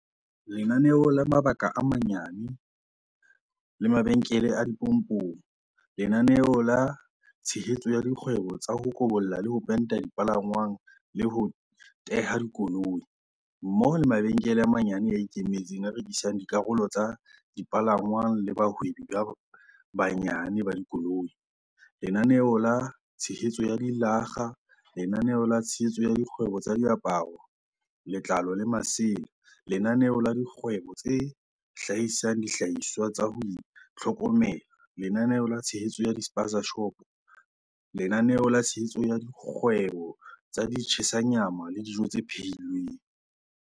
Lenaneo la mabaka a manyane le mabenkele a dipompong Lenaneo la tshehetso ya dikgwebo tsa ho kobolla le ho penta dipalangwang le ho teha dikoloi, mmoho le mabenkele a manyane a ikemetseng a rekisang dikarolo tsa dipalangwang le bahwebi ba banyane ba dikoloi, Lenaneo la tshehetso ya dilakga Lenaneo la tshehetso ya dikgwebo tsa diaparo, letlalo le masela Lenaneo la dikgwebo tse hlahisang dihlahiswa tsa ho itlhokomela Lenaneo la tshehetso ya di-spaza-shopo Lenaneo la tshehetso ya dikgwebo tsa di-tshisa nyama le dijo tse phehi lweng